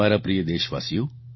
મારા પ્રિય દેશવાસીઓ